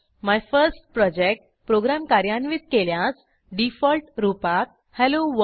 my first project program कार्यान्वित केल्यास default रूपात हेलोवर्ल्ड